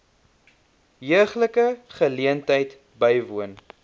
heuglike geleentheid bywoon